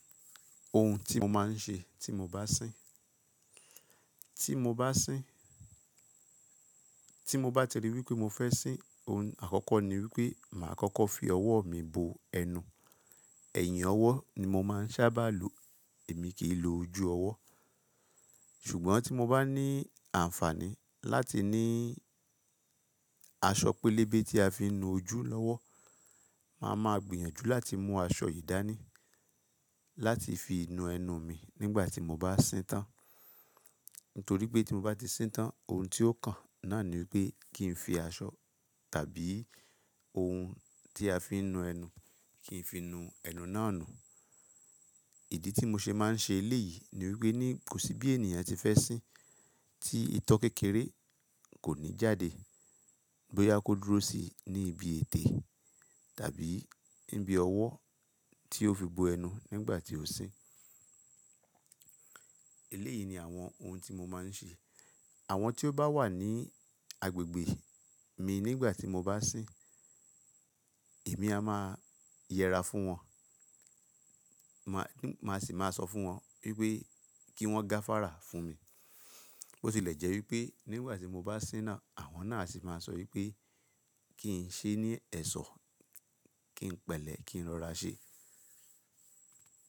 Ohun tí mo máa ń ṣe tí mo bá sín. Tí mo bá sín, tí mo bá ti rí wípé mo fẹ́ sín, ohun àkọ́kọ́ ni wípé màá kọ́kọ́ fi ọwọ́ mi bo ẹnu. Ẹ̀yìn ọwọ́ ni mo máa ń sábà lò, èmi kì í lo ojú ọwọ́. Ṣùgbọ́n tí mo bá ní àǹfààní láti ní aṣọ pélébé tí a fi ń nu ojú lọ́wọ́, màá ma gbìyànjú láti mú aṣọ yìí dání láti fi nu ẹnu mi nígbà tí mo bá sín tán. Nítorí pé tí mo bá ti sín tán, ohun tí ó kàn náà ni wípé kí n fi aṣọ tàbí ohun tí a fi ń nu ẹnu, kí n fi nu ẹnu náà nu. Ìdí tí mo ṣe máa ń ṣe eléyìí, ni wípé ní kò sí bí ènìyàn tí fẹ́ sín tí ìtọ́ kékeré kò ní jáde bóyá kó dúró sí ní ibi ètè, tàbí níbi ọwọ́ tí ó fi bo ẹnu nígbà tí ó sín. Eléyìí ni àwọn ohun tí mo máa ń ṣe. Àwọn tí ó bá wà ní agbègbè mi nígbà tí mo bá sín, èmi a máa yẹra fún wọn. Mà á sì máa sọ fún wọn wípé kí wọ́n gáfárà fún mi. Bó tilẹ̀ jẹ́ wípé nígbà tí mo bá sín náà, àwọn náà asì máa sọ wípé kí n ṣe ní ẹ̀ṣọ́, kí n pẹ̀lẹ́, kí n rọra ṣe.